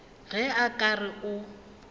ge a ka re o